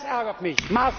Das ärgert mich